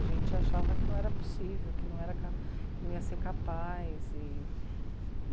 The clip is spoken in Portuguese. A gente achava que não era possível, que não ia ser capaz. E